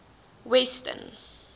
weston